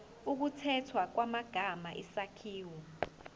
ukukhethwa kwamagama isakhiwo